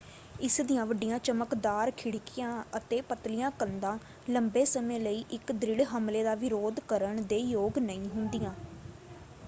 ਇਸ ਦੀਆਂ ਵੱਡੀਆਂ ਚਮਕਦਾਰ ਖਿੜਕੀਆਂ ਅਤੇ ਪਤਲੀਆਂ ਕੰਧਾਂ ਲੰਬੇ ਸਮੇਂ ਲਈ ਇੱਕ ਦ੍ਰਿੜ ਹਮਲੇ ਦਾ ਵਿਰੋਧ ਕਰਨ ਦੇ ਯੋਗ ਨਹੀਂ ਹੁੰਦੀਆਂ।